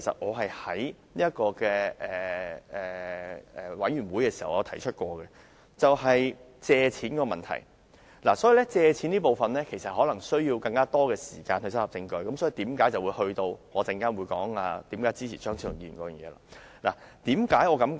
我在法案委員會會議上曾提出這一點，就是借貸問題，而借貸問題可能需要更多時間搜集證據，我稍後會再談及這點，而這亦是我支持張超雄議員的修正案的原因。